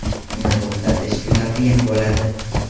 Uni to‘xtatish juda qiyin bo‘ladi.